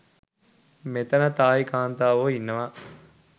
මෙතන තායි කාන්තාවෝ ඉන්නවා